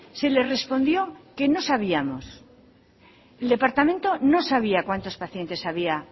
se le respondió que no sabíamos el departamento no sabía cuántos pacientes había